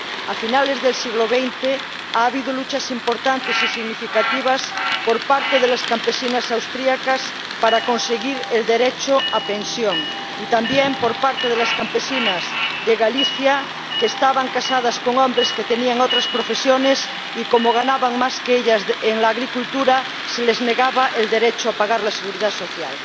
A finales del siglo XX ha habido luchas importantes y significativas por parte de las campesinas austriacas para conseguir el derecho a pensión y también por parte de las campesinas de Galicia que estaban casadas con hombres que tenían otras profesiones y a las que, como sus maridos ganaban más que ellas en la agricultura, se les negaba el derecho a pagar la seguridad social.